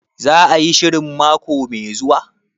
Za a yi shirin mako mai zuwa?